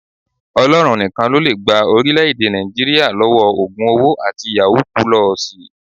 Ọlọ́run nìkan ló lè gba orílẹ̀ èdè Nàìjíríà lọ́wọ́ ògùn owó àti yàwúù pulọọsì